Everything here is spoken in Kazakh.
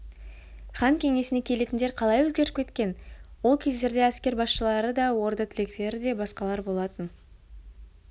хан кеңесіне келетіндер қалай өзгеріп кеткен ол кездерде әскер басшылары да орда тіректері де басқалар болатын